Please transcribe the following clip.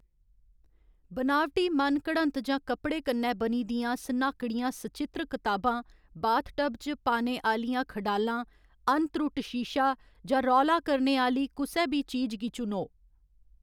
बनावटी मन घड़त जां कपड़े कन्नै बनी दियां सनाह्‌कड़ियां सचित्र कताबां, बाथटब च पाने आह्‌लियां खडालां, अनत्रुट्ट शीशा, जां रौला करने आह्‌ली कुसै बी चीज गी चुनो।